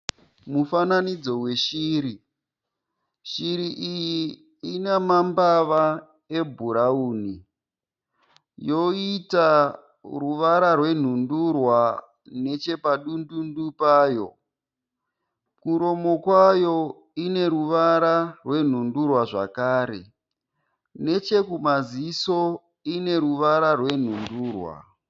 Mufananidzo weshiri ,shiri iyi inemembava ebhurawuni. Yoyita ruvara rwenundurwa nechepadundundu payo. Kumuromo kwayo ineruvara rwenundurwa zvakare. Nechekumaziso ineruvara rwenundurwa.